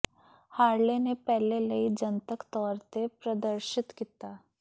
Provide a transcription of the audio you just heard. Harley ਨੇ ਪਹਿਲੇ ਲਈ ਜਨਤਕ ਤੌਰ ਤੇ ਪ੍ਰਦਰਸ਼ਿਤ ਕੀਤਾ